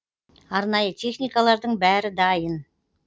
арнайы техникалардың бәрі дайын